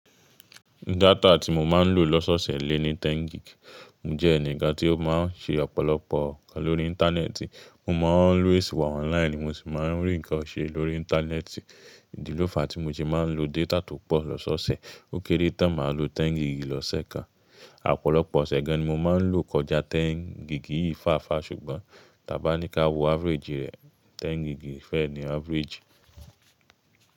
Data tí mo máa ń lò lọ́sọ̀sẹ̀ lé ní 10 gig. Mo jẹ́ ẹnìkan tí ó máa ń ṣe ọ̀pọ̀lọpọ̀ nǹkan lórí Íńtánẹ́ẹ̀tì. Mo máa ń always wà online, mo sì máa ń rí nǹkan ṣe lórí Íńtánẹ́ẹ̀tì. Ìdílọ́fà tí mo se máa ń lo data tó pọ̀ lọ́sọ̀osẹ̀, ó kéré tán máa lo 10 gig lọ́sẹ̀ kan. Ọ̀pọ̀lọpọ̀ ọ̀sẹ̀ gan-an ni mo máa ń lò kọjá 10 gig yìí fáàfáa ṣùgbọ́n, tàbí bá ní ká wo average rẹ̀, 10 gig fẹ́ ni average.